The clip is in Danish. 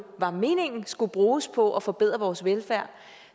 var meningen skulle bruges på at forbedre vores velfærd